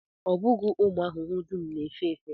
Ọ bụghị ụmụ ahụhụ dum na-efe efe